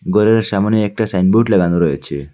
ঘরের সামনে একটা সাইনবোর্ড লাগানো রয়েছে।